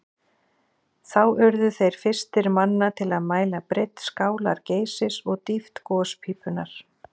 Þá urðu þeir fyrstir manna til að mæla breidd skálar Geysis og dýpt gospípunnar.